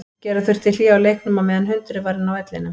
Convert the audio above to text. Gera þurfti hlé á leiknum á meðan hundurinn var inn á vellinum.